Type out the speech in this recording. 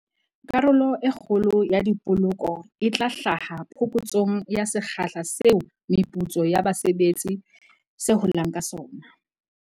Karolo e kgolo ya dipoloko e tla hlaha phokotsong ya sekgahla seo meputso ya base betsi se holang ka sona.